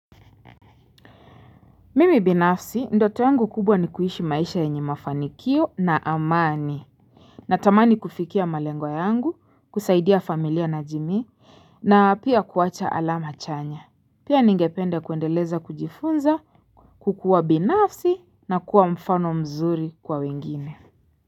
Mimi binafsi ndoto yangu kubwa ni kuishi maisha yenye mafanikio na amani. Na tamani kufikia malengwa yangu, kusaidia familia na jimii, na pia kuacha alama chanya. Pia ningepende kuendeleza kujifunza, kukua binafsi na kuwa mfano mzuri kwa wengine.